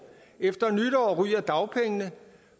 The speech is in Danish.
efter nytår ryger dagpengene